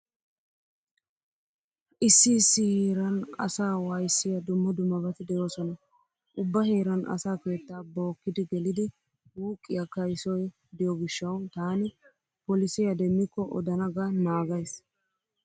Issi issi heeran asaa waayissiya dumma dummabati de'oosona. Ubba heeran asa keettaa bookki gelidi wuuqqiya kaysoy diyo gishshawu taani polisiya demmikko odana ga naagays.